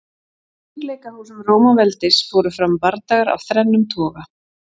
Í hringleikahúsum Rómaveldis fóru fram bardagar af þrennum toga.